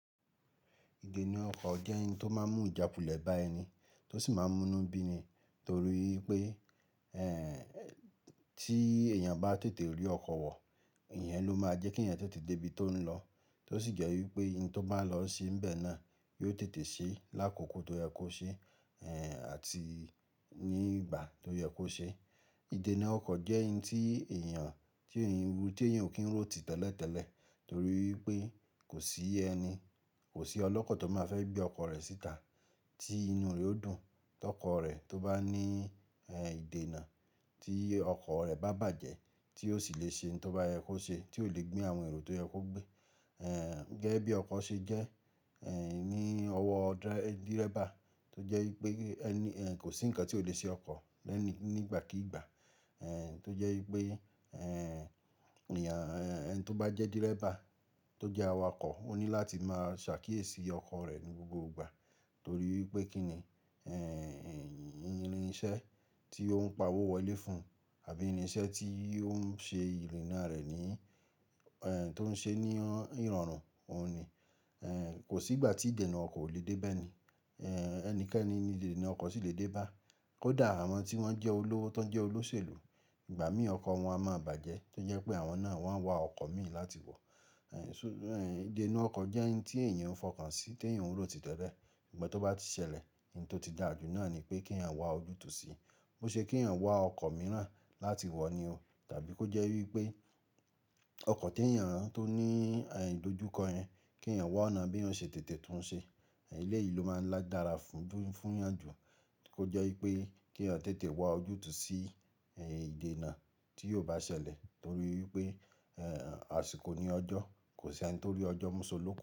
Idena ọkọ̀ jẹ́ ǹ tó máa ń mú ìjákulẹ̀ bá ẹni tó sì máa ń mú inú bí ni torí pé tí èèyàn bá tètè rí ọkọ̀ wọ̀, ìyẹn ló máa jẹ́ kí ẹ̀yàn tètè dé ibi tó ń lọ to sì jẹ́ wípé ìhun to bá lọ ṣe ni bẹ na, yi o tètè ṣe l'àkókò tó yẹ kó ṣeé, àti ní ìgbà tó yẹ kó ṣe idẹna ọkọ̀ jẹ́ ǹ tí èèyàn, tí èèyàn, tí èèyàn ò kí ń rò tìtẹ́lẹ̀ tẹ́lẹ̀ torí pé kò sí ẹni, kò sí ọlọ́kọ̀ tó máa fẹ́ gbé ọkọ̀ rẹ̀ síta tí inú rẹ ó dùn, tí ọkọ̀ rẹ̀ tó bá ní ìdènà, tí ọkọ̀ rẹ bá bàjẹ́, tí sì lè ṣe òun tó bá yẹ kó ṣe, tí ó lè gbé àwọn èrò tó yẹ kó gbé gẹ́gẹ́ bí ọkọ̀ ṣe jẹ́ ní ọwọ́ dírẹ́bà tó jẹ́ wípé kò sí ǹkan tí ò le ṣe ọkọ̀ lẹ́ni nígbàkígbà tó jẹ́ wípé ẹni tó bá jẹ́ dírẹ́bà tó jẹ́ awakọ̀ ó ní láti máa ṣàkíyèsí ọkọ̀ rẹ̀ ní gbogbo ìgbà torí pé kí ni irinṣẹ́ tí ó ń pa owó wọlé fún àbí irinṣẹ́ tí ó ń ṣe ìrìnnà rẹ̀ ní, tó ń ṣe ní ìrọ̀rùn òun ni. Kò sí ìgbà tí idena ọkọ̀ ò le dé bá ẹni, ẹnikẹ́ni ní idena ọkọ̀ sì le dé bá, kó dà àwọn tí wọ́n jẹ́ olówó tó ń jẹ́ olóṣèlú, ìgbà mí ọkọ̀ wọn a máa bàjẹ́ tó jẹ́ pé àwọn náà wọ́n á wa ọkọ̀ mìí láti wọ̀. Idena ọkọ̀ jẹ́ ẹni tí èèyàn ń fọkàn sí tí èèyàn ò rò tìtẹ́lẹ̀, ìgbà tó bá ti ṣẹlẹ̀, ohun tó ti dàjú náà ni pé kí ẹ̀yàn wá ojútùú sí i, ó ṣe kí ẹ̀yàn wá ọkọ̀ mìíràn láti wọ̀ ni o tàbí kó jẹ́ wípé ọkọ̀ tí ẹ̀yàn tó ní ìdojúkọ yẹn, kí ẹ̀yàn wá ọ̀nà bí èyàn ó ṣe tètè tún ṣe. Ilé yìí ló máa ń dára fún ìyànjú kó jẹ́ wípé kí ẹ̀yàn tètè wá ojútùú sí ìdènà tí yóò bá ṣẹlẹ̀ torí wípé àsìkò ni ọjọ́, kò sí ẹni tó rí ọjọ́ mú ṣó lókùn.